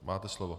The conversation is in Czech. Máte slovo.